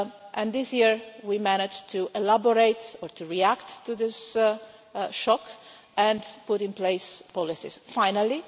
And this year we managed to elaborate or to react to this shock and put in place policies finally.